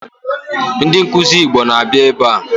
Ndi nkuzi Igbo na-abịa ebe a